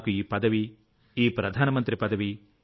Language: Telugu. నాకు ఈ పదవిఈ ప్రధానమంత్రి పదవి